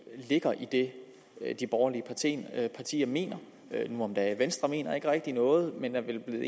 ligger i det de borgerlige partier mener nu om dage venstre mener ikke rigtig noget men er vel nu